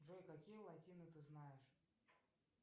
джой какие латины ты знаешь